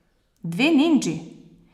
Dve nindži?